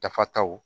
Dafataw